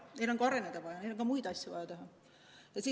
Neil on ka areneda vaja, neil on muid asju samuti vaja teha.